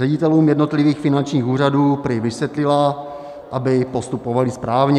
Ředitelům jednotlivých finančních úřadů prý vysvětlila, aby postupovali správně.